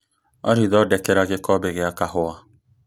Olly, thondekera gĩkombe gĩa kahua